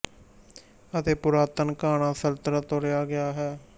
ਅਤੇ ਪੁਰਾਤਨ ਘਾਨਾ ਸਲਤਨਤ ਤੋਂ ਲਿਆ ਗਿਆ ਹੈ